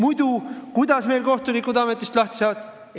Aga kuidas meil kohtunikud muidu ametist lahti saavad?